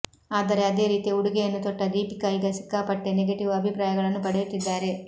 ಆದರೆ ಅದೇ ರೀತಿಯ ಉಡುಗೆಯನ್ನು ತೊಟ್ಟ ದೀಪಿಕಾ ಈಗ ಸಿಕ್ಕಾಪಟ್ಟೆ ನೆಗೆಟಿವ್ ಅಭಿಪ್ರಾಯಗಳನ್ನು ಪಡೆಯುತ್ತಿದ್ದಾರೆ